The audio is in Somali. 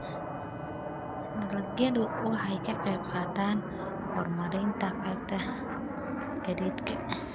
Dalagyadu waxay ka qayb qaataan horumarinta qaybta gaadiidka.